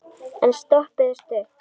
En stoppið er stutt.